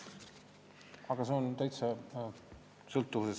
Aga see summa ei ole märkimisväärne.